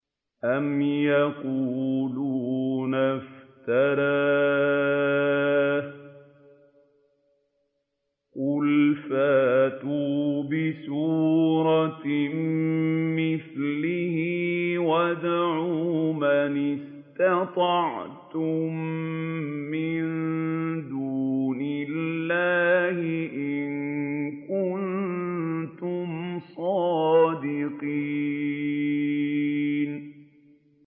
أَمْ يَقُولُونَ افْتَرَاهُ ۖ قُلْ فَأْتُوا بِسُورَةٍ مِّثْلِهِ وَادْعُوا مَنِ اسْتَطَعْتُم مِّن دُونِ اللَّهِ إِن كُنتُمْ صَادِقِينَ